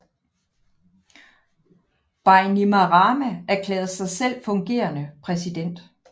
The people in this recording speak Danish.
Bainimarama erklærede sig selv fungerende præsident